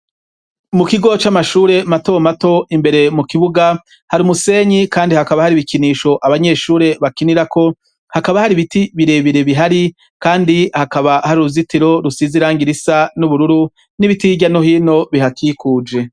Mu kigo c'amashure mato mato imbere mu kibuga hari umusenyi kandi hakaba hari ibikinisho abanyeshure bakinirako hakaba hari ibiti bire bire bihari kandi hakaba hari uruzitiro rusize irangi risa n'ubururu n'ibiti hirya no hino bihakikuje.